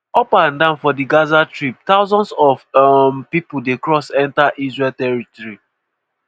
up and down for di gaza strip thousands of um pipo dey cross enta israeli territory.